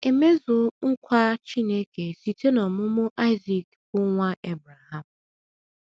E mezuo nkwa Chineke site n’ọmụmụ Aịzik bụ́ nwa Ebreham.